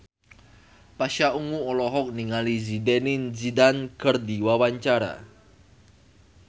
Pasha Ungu olohok ningali Zidane Zidane keur diwawancara